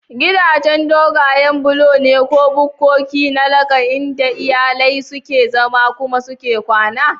Gidaje dogayen bulo ne ko bukkoki na laka inda iyalai suke zama kuma suke kwana.